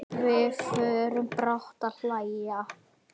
Við förum báðar að hlæja.